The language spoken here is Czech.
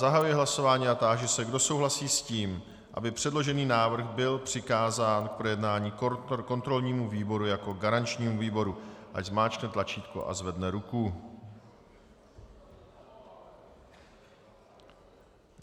Zahajuji hlasování a táži se, kdo souhlasí s tím, aby předložený návrh byl přikázán k projednání kontrolnímu výboru jako garančnímu výboru, ať zmáčkne tlačítko a zvedne ruku.